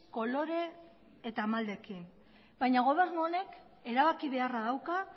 kolore eta maldekin baina gobernu honek erabaki beharra dauka